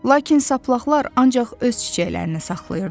Lakin saplaqlar ancaq öz çiçəklərini saxlayırdılar.